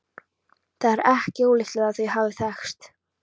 Það er ekki ólíklegt að þau hafi þekkst.